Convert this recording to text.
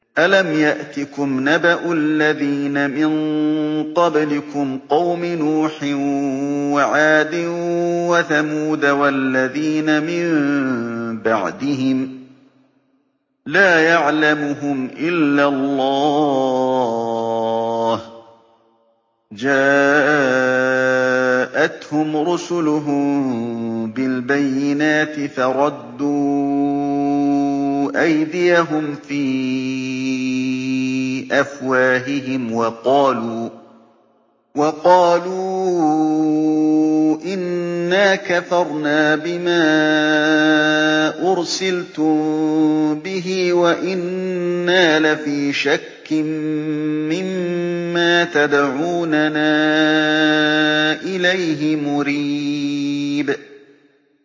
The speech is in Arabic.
أَلَمْ يَأْتِكُمْ نَبَأُ الَّذِينَ مِن قَبْلِكُمْ قَوْمِ نُوحٍ وَعَادٍ وَثَمُودَ ۛ وَالَّذِينَ مِن بَعْدِهِمْ ۛ لَا يَعْلَمُهُمْ إِلَّا اللَّهُ ۚ جَاءَتْهُمْ رُسُلُهُم بِالْبَيِّنَاتِ فَرَدُّوا أَيْدِيَهُمْ فِي أَفْوَاهِهِمْ وَقَالُوا إِنَّا كَفَرْنَا بِمَا أُرْسِلْتُم بِهِ وَإِنَّا لَفِي شَكٍّ مِّمَّا تَدْعُونَنَا إِلَيْهِ مُرِيبٍ